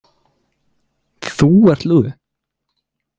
Ég er lúði.